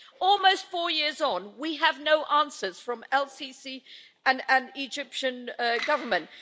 Almost four years on, we have no answers from el Sisi and the Egyptian Government.